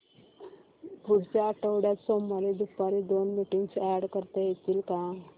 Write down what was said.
पुढच्या आठवड्यात सोमवारी दुपारी दोन मीटिंग्स अॅड करता येतील का